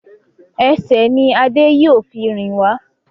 Ẹsẹ̀ ní Ade yíò fún rìn wá